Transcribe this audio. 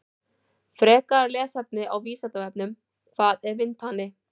Frekara lesefni á Vísindavefnum: Hvað er vindhani?